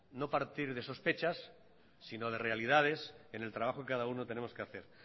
no partir de sospechas sino de realidades en el trabajo que cada uno tenemos que hacer